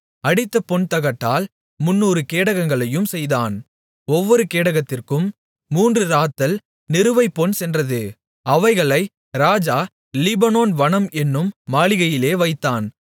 அடித்த பொன்தகட்டால் 300 கேடகங்களையும் செய்தான் ஒவ்வொரு கேடகத்திற்கும் மூன்று இராத்தல் நிறுவை பொன் சென்றது அவைகளை ராஜா லீபனோன் வனம் என்னும் மாளிகையிலே வைத்தான்